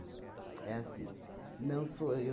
É assim. Não sou